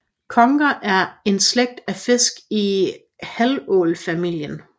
Conger er en slægt af fisk i havålfamilien